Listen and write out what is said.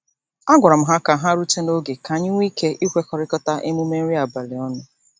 A gwara m ha ka ha rute n'oge ka anyị nwee ike ịkwakọrita emume nri abalị ọnụ.